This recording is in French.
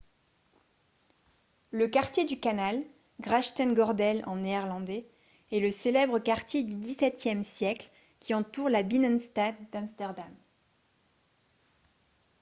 le quartier du canal grachtengordel en néerlandais est le célèbre quartier du xviie siècle qui entoure la binnenstad d'amsterdam